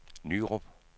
Nyrup